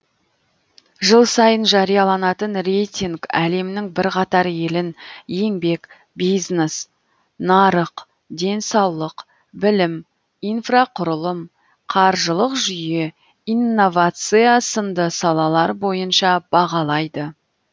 жыл сайын жарияланатын рейтинг әлемнің бірқатар елін еңбек бизнес нарық денсаулық білім инфрақұрылым қаржылық жүйе инновация сынды салалар бойынша бағалайды